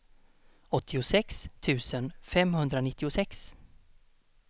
åttiosex tusen femhundranittiosex